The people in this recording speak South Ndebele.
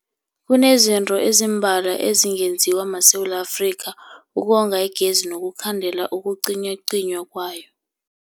Kunezinto ezimbalwa ezingenziwa maSewula Afrika ukonga igezi nokukhandela ukucinywacinywa kwayo.